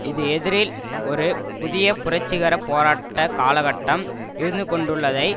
இது எதிரில் ஒரு புதிய புரட்சிகர போராட்ட காலகட்டம் இருந்துகொண்டுள்ளதை